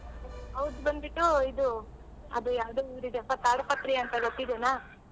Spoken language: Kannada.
ಅವ್ರ್ದ್ ಬಂದ್ಬಿಟ್ಟು ಇದು ಅದು ಯಾವ್ದೋ ಊರಿದೆ ಪ ಅಂತ ಗೊತ್ತಿದೆನ?